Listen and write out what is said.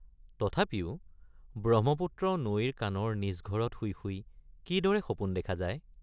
তথাপিও ব্ৰহ্মপুত্ৰ নৈৰ কাণৰ নিজ ঘৰত শুই শুই কিদৰে সপোন দেখা যায়।